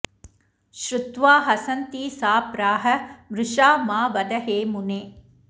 श्रुत्वा हसन्ती सा प्राह मृषा मा वद हे मुने